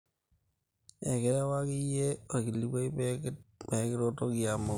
ekirewaki iyie olkilikuai peekiretoki amoku